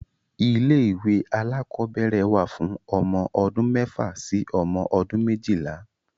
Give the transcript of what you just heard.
Ilé-ìwé alákọ̀ọ́bẹ̀rẹ̀ wà fún ọmọ odún mẹ́fà sí ọmọ ọdún méjìlá.